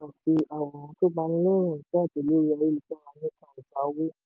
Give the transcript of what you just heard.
àwòrán tó banilẹ́rù n jáde lórí ayélujára nípa ìjà owó.